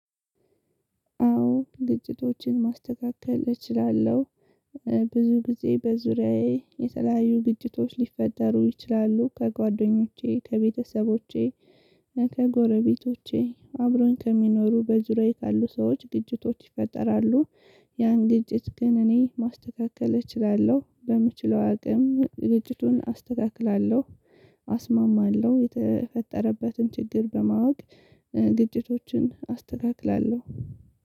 አዎ ግጭቶችን ማስተካከል እችላለሁ። ብዙ ጊዜ በዙሪያዬ የተለያዩ ግጭቶች ሊፈጠሩ ይችላሉ ከጓደኞቼ ከቤተሰቦቼ ከጎረቤቶቼ አብሮኝ ከሚኖሩ በዙሪያዬ ካሉ ሰዎች ግጭቶች ይፈጠራሉ። ያን ግጭት ግን እኔ ማስተካከል እችላለሁ በምችለው አቅም ግጭቱን አስተካክላለሁ። አስማማለሁ የተፈጠረበትን ችግር በማወቅ ግጭቶችን አስተካክላለሁ